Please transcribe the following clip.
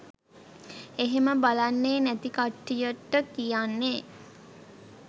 එහෙම බලන්නේ නැති කට්ටියට කියන්නේ